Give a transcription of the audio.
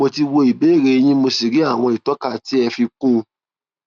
mo ti wo ìbéèrè yín mo sì rí àwòrán ìtọka tí ẹ fi kún un